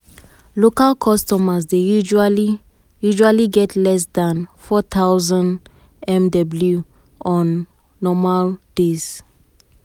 local customers dey usually usually get less dan 4000mw on normal days.